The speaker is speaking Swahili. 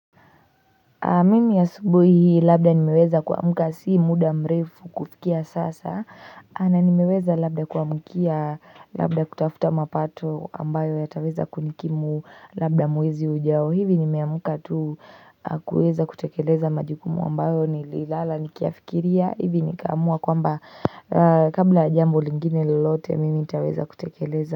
Mimi asubuhi labda nimeweza kuamka si muda mrefu kufikia sasa na nimeweza labda kuamkia labda kutafuta mapato ambayo yataweza kunikimu labda mwezi ujao hivi nimeamka tu kueza kutekeleza majukumu ambayo nililala nikiyafikiria hivi nikaamua kwamba kabla ya jambo lingine lolote mimi nitaweza kutekeleza.